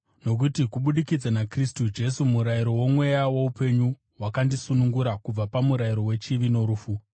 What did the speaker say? nokuti kubudikidza naKristu Jesu murayiro woMweya woupenyu wakandisunungura kubva pamurayiro wechivi norufu.